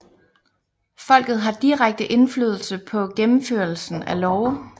Folket har direkte indflydelse på gennemførelsen af love